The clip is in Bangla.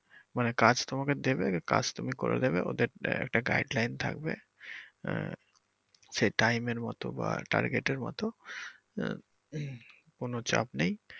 মানে কাজ তোমাকে দেবে কাজ তুমি করে দিবে ওদের একট guideline থাকবে আহ সে time এর মতো বা target এর মতো আহ কোন চাপ নেই।